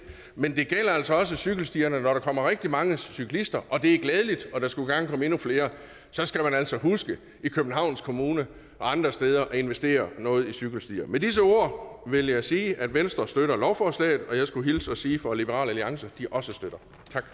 men det gælder altså også cykelstierne når der kommer rigtig mange cyklister og det er glædeligt og der skulle gerne komme endnu flere så skal man altså huske i københavns kommune og andre steder at investere noget i cykelstier med disse ord vil jeg sige at venstre støtter lovforslaget og jeg skulle hilse og sige fra liberal alliance at de også støtter